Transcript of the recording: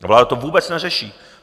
Vláda to vůbec neřeší!